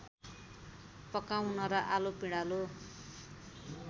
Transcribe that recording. पकाउन र आलु पिँडालु